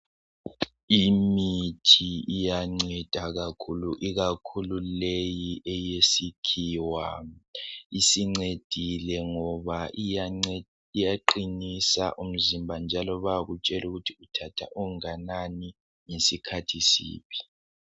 Imithi iyanceda kakhulu ikakhulu leyi eyesikhiwa isincedile ngoba iyance iyaqinisa umzimba njalo bayakutshelukuthi uthatha onganani ngesikhathi siphi.